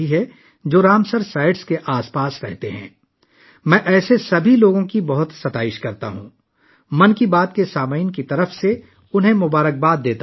میں 'من کی بات' کے سننے والوں کی طرف سے ایسے تمام لوگوں کی بہت ستائش کرتا ہوں، اور ان کے لیے نیک تمناؤں کا اظہار کرتا ہوں